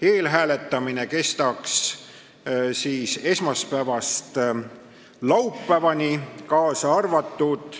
Eelhääletamine kestaks esmaspäevast laupäevani, kaasa arvatud.